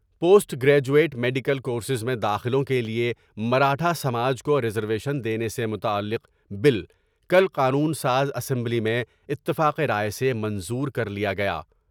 Post graduate medical کور سینر میں داخلوں کے لیے مراٹھا ساج کو ریزرویشن دینے سے متعلق بل کل قانون ساز اسمبلی میں اتفاق رائے سے منظور کر لیا گیا ۔